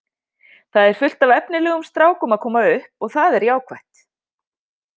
Það er fullt af efnilegum strákum að koma upp og það er jákvætt.